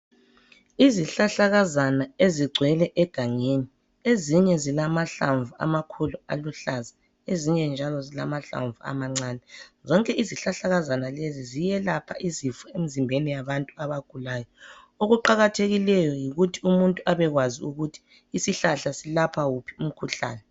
Izihlahlakazana ezigcwele egangeni ezinye zilamahlamvu amakhulu aluhlaza ezinye njalo zilamhlamvu amancane zonke izihlahlakazana lezi ziyelapha izifo emzimbeni yabantu abagulayo okuqakathekileyo yikuthi umuntu abekwazi ukuthi isihlahla silapha wuphi umkhuhlane.